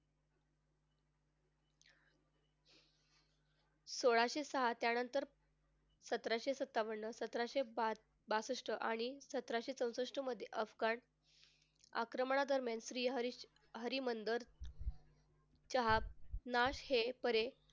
सोळाशे सहा त्यानंतर सतराशे सत्तावन्न सतराशे पाच बासष्ट आणि सतराशे चौसष्ट मध्ये अफगाण आक्रमणा दरम्यान श्री हरी हरी मंदर च्या ना हे परे,